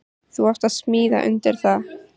Þú átt að smíða undir það.